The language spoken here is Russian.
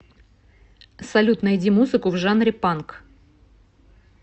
салют найди музыку в жанре панк